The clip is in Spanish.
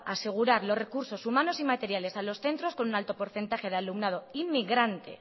asegurar los recursos humanos y materiales a los centros con un alto porcentaje de alumnado inmigrante